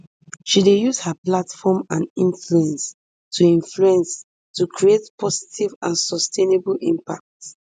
she dey use her platform and influence to influence to create positive and sustainable impact